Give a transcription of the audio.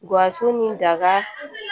Gawusu ni daga